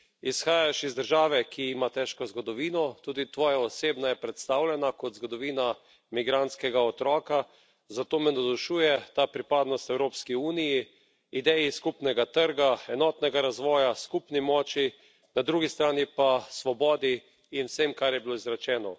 Izhajaš iz države, ki ima težko zgodovino, tudi tvoja osebna je predstavljena kot zgodovina migrantskega otroka, zato me navdušuje ta pripadnost Evropski uniji, ideji skupnega trga, enotnega razvoja, skupni moči, na drugi strani pa svobodi in vsem, kar je bilo izrečeno.